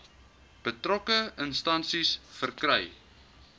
betrokke instansie verkry